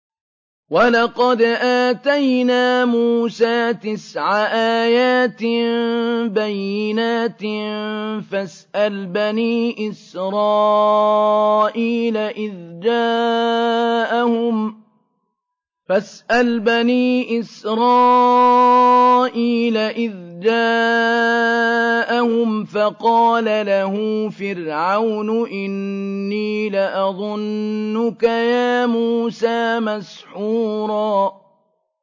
وَلَقَدْ آتَيْنَا مُوسَىٰ تِسْعَ آيَاتٍ بَيِّنَاتٍ ۖ فَاسْأَلْ بَنِي إِسْرَائِيلَ إِذْ جَاءَهُمْ فَقَالَ لَهُ فِرْعَوْنُ إِنِّي لَأَظُنُّكَ يَا مُوسَىٰ مَسْحُورًا